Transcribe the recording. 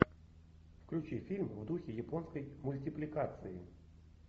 включи фильм в духе японской мультипликации